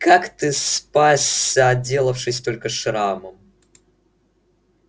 как ты спасся отделавшись только шрамом